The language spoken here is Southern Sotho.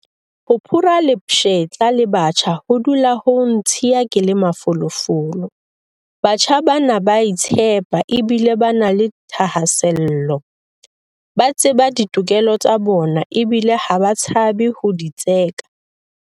Ho phura lepshetla le batjha ho dula ho ntshiya ke le mafolofolo. Batjha bana ba a itshepa ebile ba na le dithahasello. Ba tseba ditokelo tsa bona ebile ha ba tshabe ho di tseka.